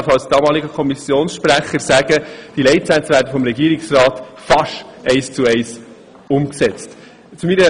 Als damaliger Kommissionssprecher kann ich sagen, dass diese Leitsätze vom Regierungsrat fast eins zu eins umgesetzt wurden.